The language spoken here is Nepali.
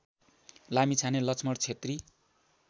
लामिछाने लक्ष्मण क्षेत्री